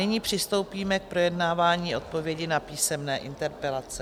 Nyní přistoupíme k projednávání odpovědí na písemné interpelace.